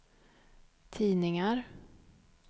tidningar